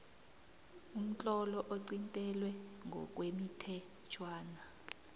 umtlolo oqintelwe ngokwemithetjhwana